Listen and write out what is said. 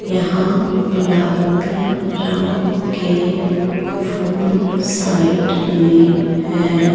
यहां गुलाबी रंग के फूल साइड में है।